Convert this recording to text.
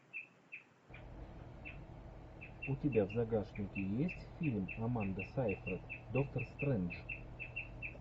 у тебя в загашнике есть фильм аманда сайфред доктор стрэндж